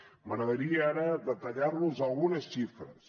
m’agradaria ara detallar vos algunes xifres